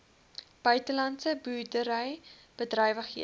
buitelandse boerdery bedrywighede